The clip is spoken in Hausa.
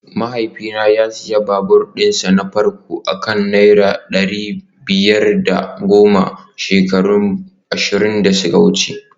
Mahaifina ya sayi babur dinsa na farko a kan naira dari biyar da goma shekaru ashirin da suka wuce